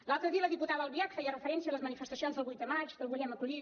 l’altre dia la diputada albiach feia referència a les manifestacions del vuit de maig del volem acollir